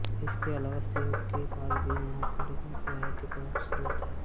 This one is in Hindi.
इसके अलावा सेव के बाग भी यहाँ के लोगों के आय के प्रमुख स्रोत हैं